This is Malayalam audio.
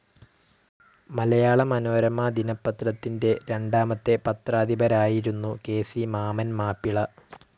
മലയാള മനോരമ ദിനപത്രത്തിന്റെ രണ്ടാമത്തെ പത്രാധിപരായിരുന്നു കെ.സി. മാമ്മൻ മാപ്പിള.